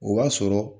O b'a sɔrɔ